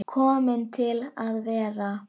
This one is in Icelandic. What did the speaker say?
Komin til að vera?